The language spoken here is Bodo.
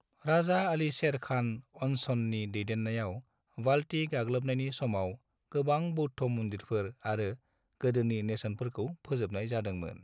राजा आली शेर खान अन्चननि दैदेन्नायाव बाल्टी गाग्लोबनायनि समाव, गोबां बौद्ध मन्दिरफोर आरो गोदोनि नेरसोनफोरखौ फोजोबनाय जादोंमोन।